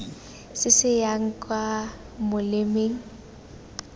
se se yang kwa molemeng